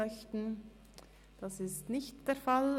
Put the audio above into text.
– Dies ist nicht der Fall.